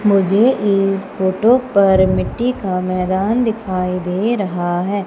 मुझे इस फोटो पर मिट्टी का मैदान दिखाई दे रहा है।